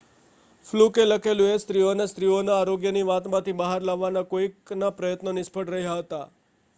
ફલુકે લખેલું કે સ્ત્રીઓને સ્ત્રીઓના આરોગ્યની વાત માંથી બહાર લાવવાના કોઇકના પ્રયત્નો નિષ્ફળ રહ્યા હતા